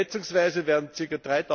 Schätzungsweise werden ca.